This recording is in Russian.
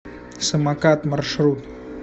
самокат маршрут